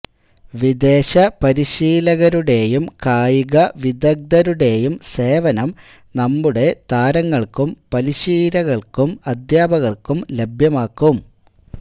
വിദേശപരിശീലകരുടേയും കായിക വിദഗ്ദ്ധരുടേയും സേവനം നമ്മുടെ താരങ്ങള്ക്കും പരിശീലകര്ക്കും അദ്ധ്യാപകര്ക്കും ലഭ്യമാക്കും